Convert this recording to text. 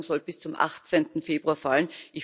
Eine Entscheidung soll bis zum 18. Februar fallen.